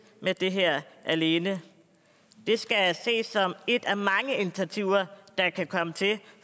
med det her alene det skal ses som et af mange initiativer der kan komme til